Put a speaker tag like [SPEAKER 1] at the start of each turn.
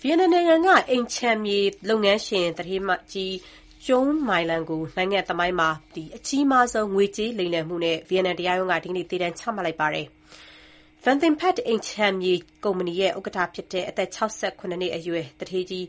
[SPEAKER 1] ဗီယက်နမ်နိုင်ငံက အိမ်၊ ခြံ၊ မြေ လုပ်ငန်းရှင် သူဋ္ဌေးကြီး Truong My Lan ကို နိုင်ငံသမိုင်းမှာ အကြီးမားဆုံးငွေကြေးလိမ်လည်မှု နဲ့ ဗီယက်နမ် တရားရုံးက ဒီနေ့ သေဒဏ်ချမှတ်လိုက်ပါတယ်။ Van Thing Phat အိမ် ခြံ မြေ ကုမ္ပဏီရဲ့ ဥက္ကဋ္ဌဖြစ်တဲ့ အသက် ၆၇ နှစ်အရွယ် သူဋ္ဌေးကြီး